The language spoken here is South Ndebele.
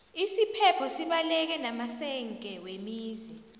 isiphepho sibaleke namasenge wemizi